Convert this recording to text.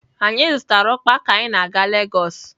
Anyị zụtara ukpa ka anyị na-aga Lagos